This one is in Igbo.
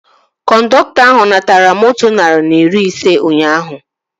Kọndọktọ ahu natara m otu narị na iri ise ụnyaahụ